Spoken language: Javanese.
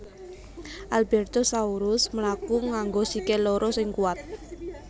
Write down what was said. Albertosaurus mlaku nganggo sikil loro sing kuwat